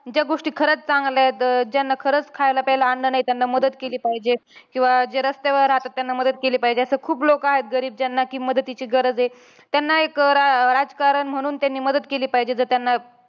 ज्या गोष्टी खरंच चांगल्या आहेत, ज्यांना खरंच खायला प्यायला अन्न नाही, त्यांना मदत केली पाहिजे. किंवा जे रस्त्यावर राहतात, त्यांना मदत केली पाहिजे. असे खूप लोकं आहेत गरीब, ज्यांना कि मदतीची गरज आहे. त्यांना एक रा राजकारण म्हणून त्यांनी मदत केली पाहिजे. जर त्यांना